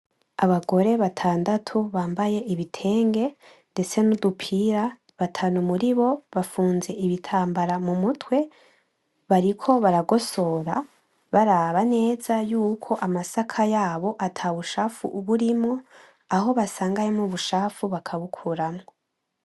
Abagore batandatu bambaye ibitenge nudupira ndetse batanu muribo bafunze ibitambara mumutwe bariko baragosora baraba neza yuko amasaka yabo atabucafu burimwo, aho basanga harimwo ubucafu bakabukuramwo.